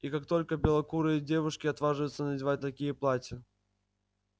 и как только белокурые девушки отваживаются надевать такие платья